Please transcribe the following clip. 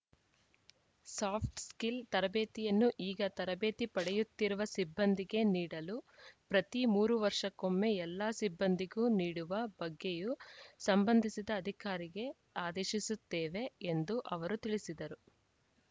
soft skill ತರಬೇತಿಯನ್ನು ಈಗ ತರಬೇತಿ ಪಡೆಯುತ್ತಿರುವ ಸಿಬ್ಬಂದಿಗೆ ನೀಡಲು ಪ್ರತಿ ಮೂರು ವರ್ಷಕ್ಕೊಮ್ಮೆ ಎಲ್ಲಾ ಸಿಬ್ಬಂದಿಗೂ ನೀಡುವ ಬಗ್ಗೆಯೂ ಸಂಬಂಧಿಸಿದ ಅಧಿಕಾರಿಗೆ ಆದೇಶಿಸುತ್ತೇವೆ ಎಂದು ಅವರು ತಿಳಿಸಿದರು